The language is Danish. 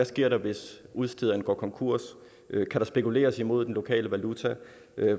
sker hvis udstederne går konkurs kan der spekuleres imod den lokale valuta